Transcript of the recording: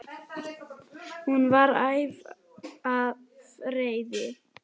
Hún var æf af reiði.